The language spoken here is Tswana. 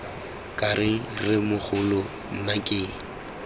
ke reng rremogolo nna ke